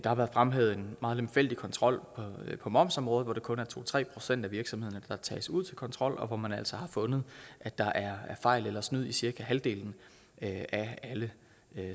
har været fremhævet en meget lemfældig kontrol på momsområdet hvor det kun er to tre procent af virksomhederne der tages ud til kontrol og hvor man altså har fundet at der er fejl eller snyd i cirka halvdelen af alle